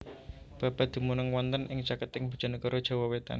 Babat dumunung wonten ing caketing Bojonegoro Jawa wetan